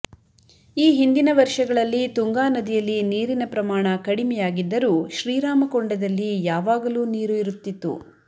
ಈ ಹಿಂದಿನ ವರ್ಷಗಳಲ್ಲಿ ತುಂಗಾ ನದಿಯಲ್ಲಿ ನೀರಿನ ಪ್ರಮಾಣ ಕಡಿಮೆಯಾಗಿದ್ದರೂ ಶ್ರೀರಾಮಕೊಂಡದಲ್ಲಿ ಯಾವಾಗಲೂ ನೀರು ಇರುತ್ತಿತ್ತು